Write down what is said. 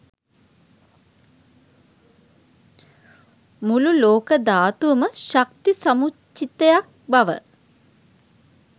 මුළු ලෝක ධාතුවම ශක්ති සමුච්චිතයක් බව